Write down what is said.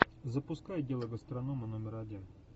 запускай дело гастронома номер один